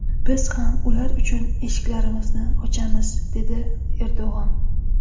Biz ham ular uchun eshiklarimizni ochamiz”, dedi Erdo‘g‘on.